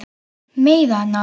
Meiða hana.